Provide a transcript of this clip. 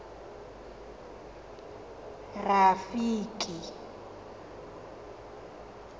rafiki